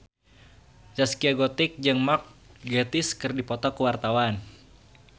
Zaskia Gotik jeung Mark Gatiss keur dipoto ku wartawan